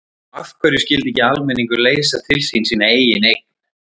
Og af hverju skyldi ekki almenningur leysa til sín sína eigin eign?